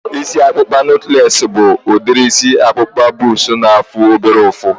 Isi ọkpụkpa nọtlees bụ udiri isi ọkpụkpa bọks na-afụ obere ụfụ